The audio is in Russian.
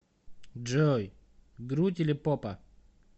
джой грудь или попа